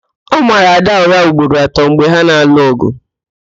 Ọ mara Ada ụra ugboro atọ mgbe ha na-alụ ọgụ